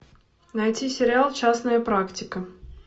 найти сериал частная практика